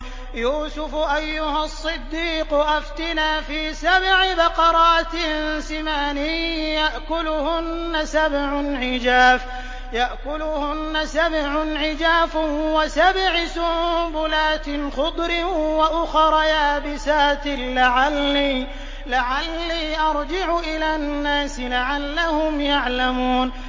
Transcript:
يُوسُفُ أَيُّهَا الصِّدِّيقُ أَفْتِنَا فِي سَبْعِ بَقَرَاتٍ سِمَانٍ يَأْكُلُهُنَّ سَبْعٌ عِجَافٌ وَسَبْعِ سُنبُلَاتٍ خُضْرٍ وَأُخَرَ يَابِسَاتٍ لَّعَلِّي أَرْجِعُ إِلَى النَّاسِ لَعَلَّهُمْ يَعْلَمُونَ